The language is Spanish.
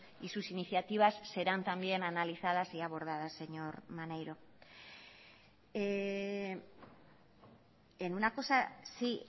y sus iniciativas serán también analizadas y abordadas señor maneiro en una cosa sí